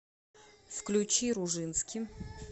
включи ружински